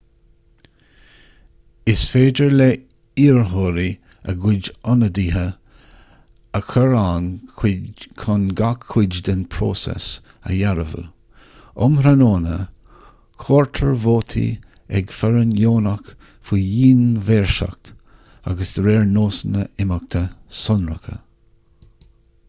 is féidir le hiarrthóirí a gcuid ionadaithe a chur ann chun gach cuid den phróiseas a dhearbhú um thráthnóna comhairtear vótaí ag foireann dheonach faoi dhian-mhaoirseacht agus de réir nósanna imeachta sonracha